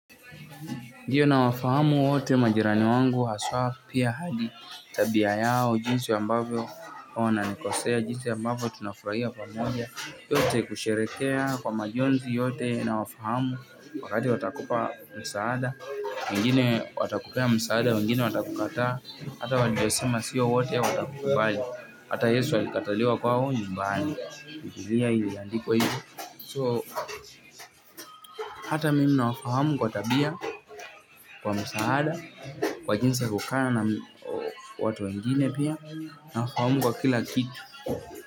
Ndio nawafahamu wote majirani wangu haswaa pia hadi tabia yao jinsi ambavyo na nikosea jinsi ambavyo tunafurahia pamoja yote kusherehekea kwa majonzi yote nawafahamu wakati watakupa msaada, wengine watakupea msaada, wengine watakukataa, hata waliyosema sio wote watakukubali, hata Yesu alikataliwa kwao nyumbani. Bibilia iliyandikwa hivo. So hata mimi nawafahamu kwa tabia kwa msaada kwa jinsi ya kukaa na watu wengine pia nawafahamu kwa kila kitu.